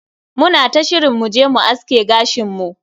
Muna ta shirin mu je mu aske gashin mu.